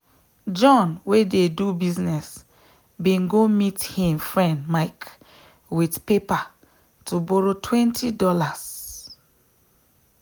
john wey dey do business bin go meet him friend mike with paper to borrow $20.00